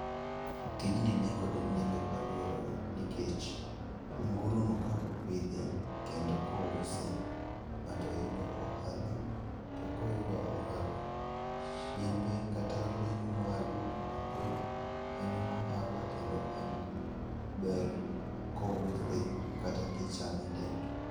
Tijni nikod nengo e aluorawa nikech anguro no kaka opidhe kendo ka ouse, ng'ato yudo ohala to koyudo ohala to chiembe kata ring'o mowuok kuom anguro en gi ohala kendo en gi ber ka ouse kata kichame edend.